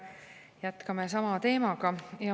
Jätkame sama teemaga.